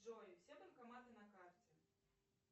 джой все банкоматы на карте